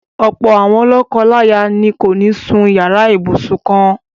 Ọ̀pọ̀ àwọn lọ́kọláya ni kò ní sún yàrá ibùsùn kan-ná-àn.